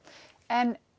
en